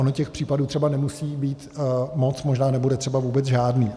Ono těch případů třeba nemusí být moc, možná nebude třeba vůbec žádný.